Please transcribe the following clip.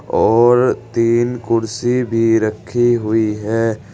और तीन कुर्सी भी रखी हुई है।